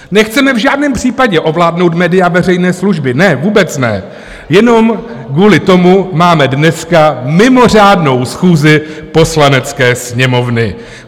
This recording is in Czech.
Nechceme v žádném případě ovládnout média veřejné služby, ne, vůbec ne, jenom kvůli tomu máme dneska mimořádnou schůzi Poslanecké sněmovny.